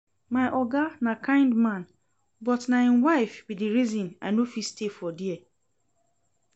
My oga na kind man but na im wife be the reason I no fit stay for there